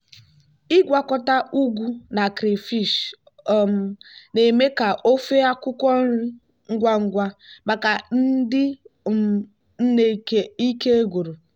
ịgwakọta ugu na crayfish um na-eme ka ofe akwukwo nri ngwa ngwa maka ndị um nne ike gwụrụ.